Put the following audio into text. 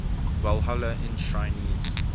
walhalla enshrinees